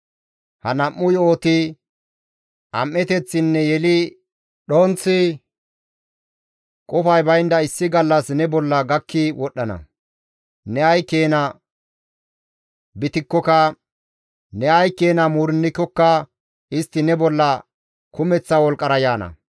Ha nam7u yo7oti, am7eteththinne yeli dhonththi qofay baynda issi gallas ne bolla gakki wodhdhana; ne ay keena bitikkoka, ne ay keena muurennikokka istti ne bolla kumeththa wolqqara yaana.